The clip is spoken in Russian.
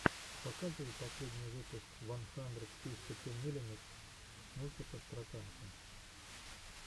показывай последний выпуск ван хандрэд фифти ту миллимитэс мультиков про танки